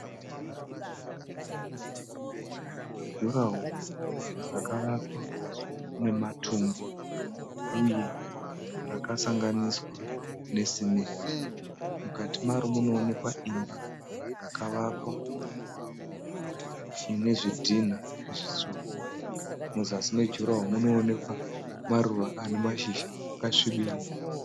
Jurahoro rakawakwa nematombo uye rakasanganiswa nesimende. Mukati Maro munoonekwa imba yakavakwa inezvidhina zvitsvuku . Muzasi me jurahoro munoonekwa maruva ane mashizha akasvibirira.